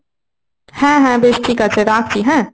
হ্যাঁ হ্যাঁ বেশ ঠিক আছে। রাখছি হ্যাঁ,